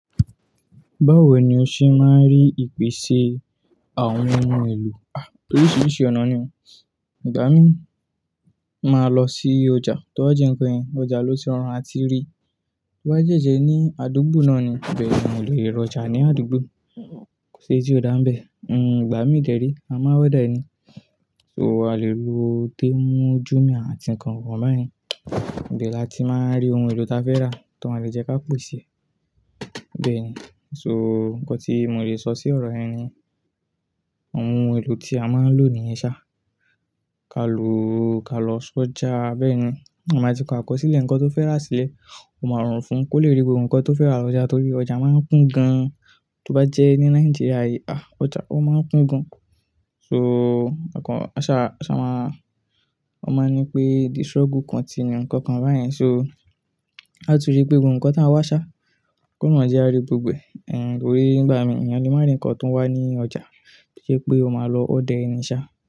Báwo ni o ṣe máa ń rí ìpèsè àwọn ohun èlò? Oríṣiríṣi ọ̀nà ni o. Ìgbà mí máa lọ sí ọjà, tó bá jẹ́ ǹkan yẹn, ọjà ló ti rọrùn àti rí. Tó bá jẹ́ ẹṣẹ ní àdúgbò náà ni, bẹ́ẹ̀ ni mo lè rí ọjà ní àdúgbò. Kò sí èyí tí ò dá ń bẹ̀. Ìgbà mí kèré, a máa wá dá ẹni. So a lè lo téè mú ojú mi àti ǹkan kan báyẹn. Bẹ́ẹ̀ la ti máa ń rí ohun èlò ta fẹ́ rà, tó má lè jẹ́ ká pòọ̀ ṣe. Bẹ́ẹ̀ ni. So ǹkan tí mo lè sọ sí ọ̀rọ̀ ẹ ni ohun èlò tí a máa ń lò ní ìṣá. Ka lò, ka lọ sí ọjà bẹ́ẹ̀ ni. A máa ti kọ akọsílẹ̀ ǹkan tó fẹ́ rà sílẹ̀, ó máa rùn fún un kó lè rí gbogbo ǹkan tó fẹ́ rà lọ́jà torí ọjà máa ń kún gan. Tó bá jẹ́ ní Nàìjíríà yìí, àh! Ọjà ó máa ń kún gan. So ọkàn, aṣa, aṣa máa, ó máa ń ní pé the struggle continue ǹkan kan báyẹn. So láti rí pé gbogbo ǹkan tá a wá ṣá, kó má jẹ́ a rí gbogbo ẹ̀. Ẹ̀h, torí nígbà mí, ènìyàn ni máa ń rí ǹkan tó ń wá ní ọjà. Bí i ṣe pé o máa lọ ó ordẹr ẹni ṣá.